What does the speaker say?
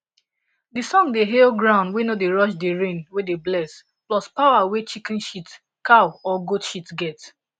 de song dey hail ground wey no dey rush the rain wey dey bless plus powa wey chicken shitcow or goat shit get